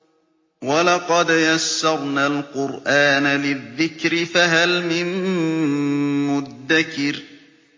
وَلَقَدْ يَسَّرْنَا الْقُرْآنَ لِلذِّكْرِ فَهَلْ مِن مُّدَّكِرٍ